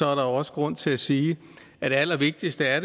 også grund til at sige at det allervigtigste er